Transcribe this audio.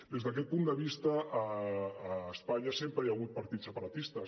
des d’aquest punt de vista a espanya sem·pre hi ha hagut partits separatistes